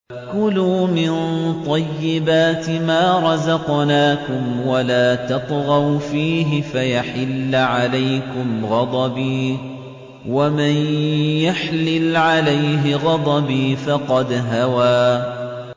كُلُوا مِن طَيِّبَاتِ مَا رَزَقْنَاكُمْ وَلَا تَطْغَوْا فِيهِ فَيَحِلَّ عَلَيْكُمْ غَضَبِي ۖ وَمَن يَحْلِلْ عَلَيْهِ غَضَبِي فَقَدْ هَوَىٰ